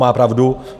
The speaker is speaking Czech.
Má pravdu.